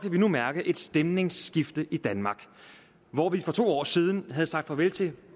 vi nu mærke et stemningsskifte i danmark hvor vi for to år siden havde sagt farvel til